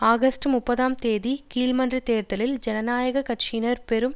August முப்பதாம் தேதி கீழ்மன்றத் தேர்தலில் ஜனநாயக கட்சியினர் பெரும்